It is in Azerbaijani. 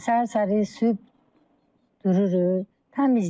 Səhər-səhər sübh dururuq, təmizliyik.